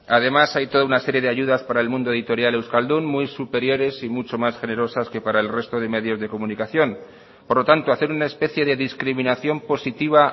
además hay toda una serie de ayudas para el mundo editorial euskaldun muy superiores y mucho más generosas que para el resto de medios de comunicación por lo tanto hacer una especie de discriminación positiva